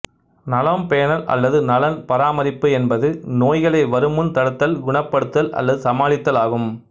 நலம் பேணல் அல்லது நலன் பராமரிப்பு என்பது நோய்களை வரும்முன் தடுத்தல் குணப்படுத்தல் அல்லது சமாளித்தல் ஆகும்